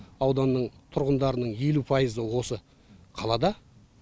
ауданның тұрғындарының елу пайызы осы қалада